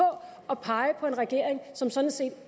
at pege på en regering som sådan set